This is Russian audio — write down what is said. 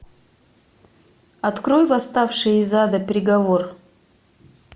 открой восставший из ада приговор